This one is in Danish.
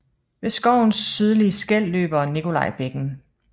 Ved skovens sydlige skel løber Nikolajbækken